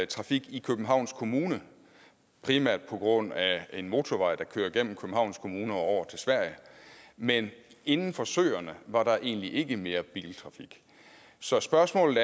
trafik i københavns kommune primært på grund af en motorvej der kører gennem københavns kommune og over til sverige men inden for søerne var der egentlig ikke mere biltrafik så spørgsmålet